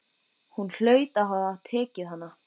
Hún hlaut að hafa tekið hana.